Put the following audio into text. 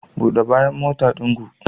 Bude bayan motan ɗin ku.